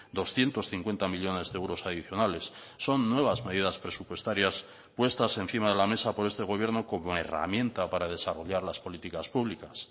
doscientos cincuenta millónes de euros adicionales son nuevas medidas presupuestarias puestas encima de la mesa por este gobierno como herramienta para desarrollar las políticas públicas